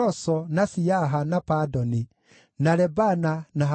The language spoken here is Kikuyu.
Njiaro cia Delaia, na Tobia, na Nekoda, maarĩ andũ 652.